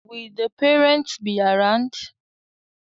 Will the parents be around today?